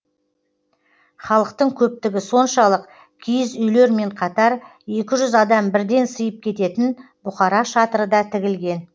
халықтың көптігі соншалық киіз үйлермен қатар екі жүз адам бірден сыйып кететін бұқара шатыры да тігілген